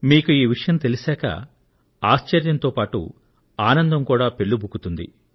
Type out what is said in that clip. మీకు ఈ విషయం తెలిసిన తరువాత ఆశ్చర్యంతో పాటు ఆనందం కూడా పెల్లుబుకుతుంది